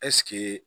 Ɛseke